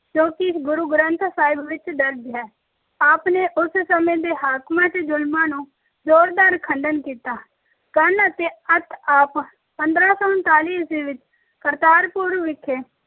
ਜੋ ਕਿ ਗੁਰੂ ਗ੍ਰੰਥ ਸਾਹਿਬ ਵਿੱਚ ਦਰਜ ਹੈ। ਆਪ ਨੇ ਉਸ ਸਮੇਂ ਦੇ ਹਾਕਮਾਂ ਅਤੇ ਜੁਲਮਾਂ ਨੂੰ ਜੋਰਦਾਰ ਖੰਡਨ ਕੀਤਾ। ਅਤੇ ਅੰਤ ਆਪ ਪੰਦਰਾ ਸੌ ਉਨਤਾਲੀ ਈਸਵੀ ਵਿੱਚ ਕਰਤਾਰਪੁਰ ਵਿਖੇ